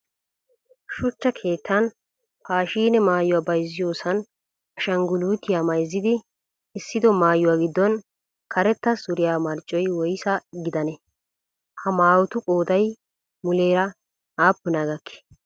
Shuchcha keettan paashiine maayuwa bayizziyoosan ashangguluutiya mayizzidi essido mayuwa giddon karetta suriyaa marccoy woyisa gidanee? Ha mayotu qooday muleera aappunaa gakkii?